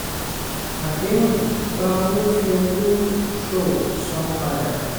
àdéhùn: gba owó fi owó ṣòwò san padà.